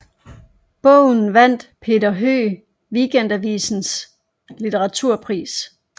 Bogen vandt Peter Høeg Weekendavisens litteraturpris